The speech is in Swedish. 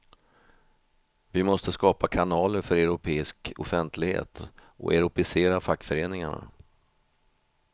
Vi måste skapa kanaler för europeisk offentlighet och europeisera fackföreningarna.